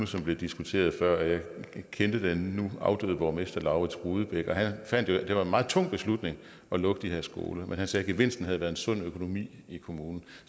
som blev diskuteret før og jeg kendte den nu afdøde borgmester laurids rudebeck han fandt jo at det var en meget tung beslutning at lukke de her skoler men han sagde at gevinsten havde været en sund økonomi i kommunen